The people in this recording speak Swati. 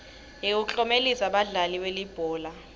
yekuklomelisa badlali belibhola